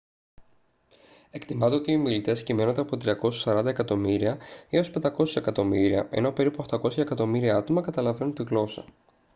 εκτιμάται ότι οι ομιλητές κυμαίνονται από 340 εκατομμύρια έως 500 εκατομμύρια ενώ περίπου 800 εκατομμύρια άτομα καταλαβαίνουν τη γλώσσα